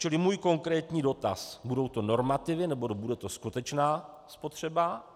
Čili můj konkrétní dotaz: Budou to normativy, nebo bude to skutečná spotřeba?